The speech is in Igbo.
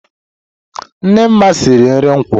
Nne Nma siri nri nkwu.